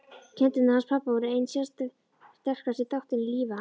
Kindurnar hans pabba voru einn sterkasti þátturinn í lífi hans.